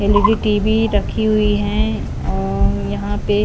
L E D TV रखी हुई हैऔर यहां पे--